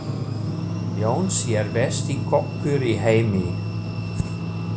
Jónsi er besti kokkur í heimi.